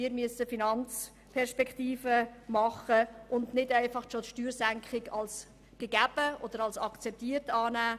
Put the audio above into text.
Wir müssen Finanzperspektiven erarbeiten und eine Steuersenkung nicht einfach bereits als gegeben oder akzeptiert annehmen.